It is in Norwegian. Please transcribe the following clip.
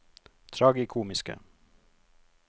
tragikomiske